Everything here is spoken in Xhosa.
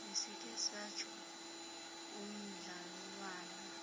besikhe satsho umdlalwana